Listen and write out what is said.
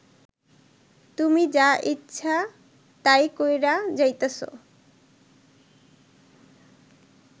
তুমি যা ইচ্ছা তাই কইরা যাইতাছ